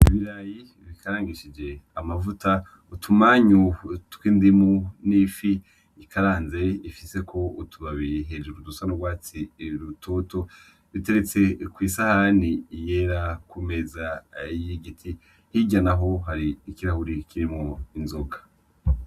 Ibirayi bikarangishije amavuta utumanyu tw'indimu n'ifi ikaranze ifisko utubabi hejuru dusa n'ugwatsi rutoto biteretse kw'isahani yera kumeza y'igiti hirya naho hari ikirahuri kirimwo inzoga.